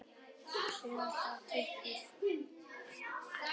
Styðja, uppörva og hvetja.